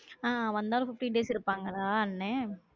ஆ வந்தாலும் fifteen days இருப்பாங்களா? அண்ணே